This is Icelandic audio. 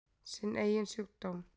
Sinn eigin sjúkdóm.